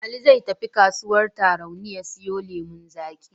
Ali zai tafi kasuwar Tarauni ya siyo lemon zaƙi.